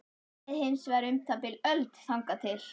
Það leið hins vegar um það bil öld þangað til